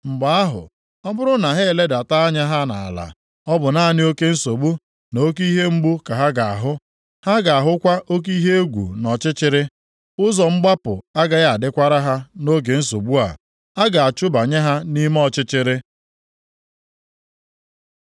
Mgbe ahụ, ọ bụrụ na ha eledata anya ha nʼala ọ bụ naanị oke nsogbu na oke ihe mgbu ka ha ga-ahụ. Ha ga-ahụkwa oke ihe egwu na ọchịchịrị. Ụzọ mgbapụ agaghị adịkwara ha nʼoge nsogbu a. A ga-achụbanye ha nʼime ọchịchịrị.